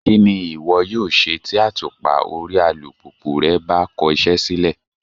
Kí ni ìwọ yóò ṣe tí àtùpà orí alùpùpù rẹ bá kọ iṣẹ́ sílẹ̀?